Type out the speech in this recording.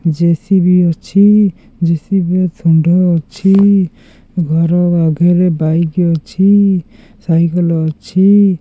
JCB ଅଛି JCB ର ଶୁଣ୍ଢ ଅଛି ଘର ଆଗେରେ ବାଇକି ଅଛି ସାଇକଲ ଅଛି।